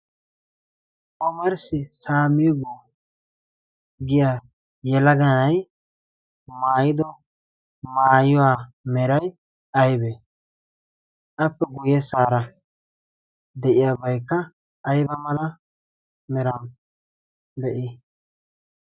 omerssi saamigo giya yelaganai maayido maayiwaa merai aibee appe guyye saara de'iyaabaikka ayba mala mera de'ii?